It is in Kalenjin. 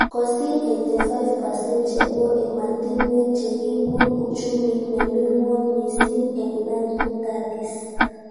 Kosir 85% chebo ematinwek chekibun uchumit nemi ngwony mising eng 1930s